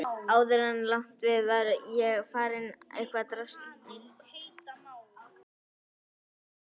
Áður en langt um leið var ég farin að fá ofskynjanir.